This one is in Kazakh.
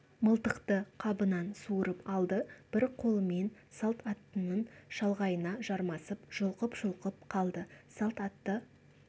мылтықты қабынан суырып алды бір қолымен салт аттының шалғайына жармасып жұлқып-жұлқып қалды салт атты